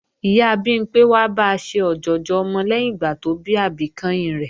Ìyá Bimpé wá ba ṣe ọ̀jọ̀jọ̀ ọmọ lẹ́yìn ìgbà tó bí àbí kẹ́hìn rẹ̀